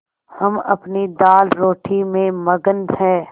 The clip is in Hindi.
हम अपनी दालरोटी में मगन हैं